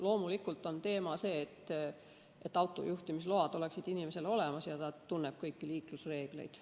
Loomulikult on teema ka see, et inimesel oleksid autojuhiload olemas ja ta tunneks kõiki liiklusreegleid.